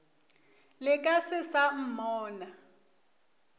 le ka se sa mmona